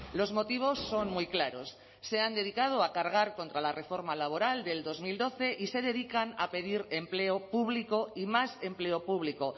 los motivos son muy claros se han dedicado a cargar contra la reforma laboral del dos mil doce y se dedican a pedir empleo público y más empleo público